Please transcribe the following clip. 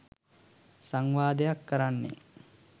සංවාදයක් කරන්නේ